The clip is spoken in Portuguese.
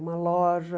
Uma loja.